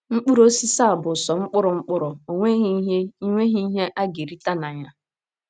Mkpụrụ osisi a bụ sọ mkpụrụ mkpụrụ, o nweghị ihe nweghị ihe a ga - erite na ya.